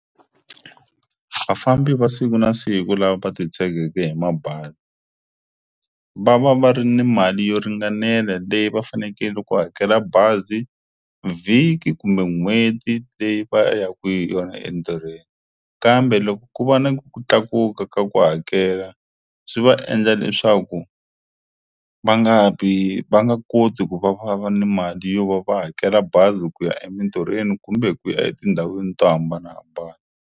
Vafambi va siku na siku lava titshegeke hi mabazi va va va ri ni mali yo ringanela leyi va fanekele loko va hakela bazi vhiki kumbe n'hweti leyi va ya ku yona entirhweni kambe loko ku va na ku tlakuka ka ku hakela swi va endla leswaku va nga vi va nga koti ku va va va ni mali yo va va hakela bazi ku ya emintirhweni kumbe ku ya etindhawini to hambanahambana.